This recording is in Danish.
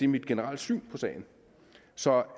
mit generelle syn på sagen så